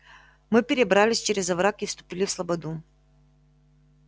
мы перебрались через овраг и вступили в слободу